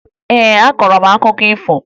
Ee, akọrọ m akụkọ ifo